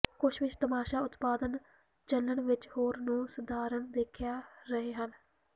ਕੁਝ ਵਿੱਚ ਤਮਾਸ਼ਾ ਉਤਪਾਦਨ ਚੱਲਣ ਵਿੱਚ ਹੋਰ ਨੂੰ ਸਧਾਰਨ ਦੇਖਿਆ ਰਹੇ ਹਨ